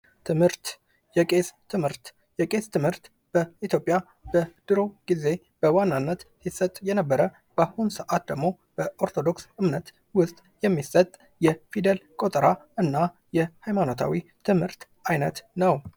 የቄስ ትምህርት በኢትዮጵያ ድሮ ግዜ በዋናነት ይሰጥ የነበረ በአሁን ሰዓት ደግሞ በኦርቶዶክስ እምነት ውስጥ የሚሰጥ የፊደል ቆጠራ የሃይማኖታዊ ትምህርት አይነት ነው ።